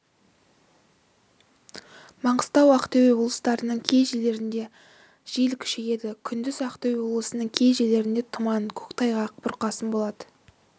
маңғыстау ақтөбе облыстарының кей жерлерінде жел күшейеді күндіз ақтөбе облысының кей жерлерінде тұман көктайғақ бұрқасын болады